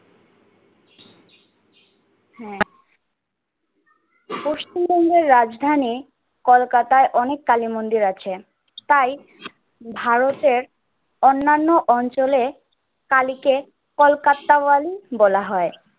হ্যা পশ্চিমবঙ্গের রাজধানী কলকাতায় অনেক কালী মন্দির আছেন। তাই ভারতের অন্নান্য অঞ্চলের কালীকে কোলকাত্তাওয়ালী বলা হয়।